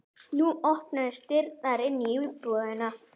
Nú opnuðust dyrnar inn í íbúðina.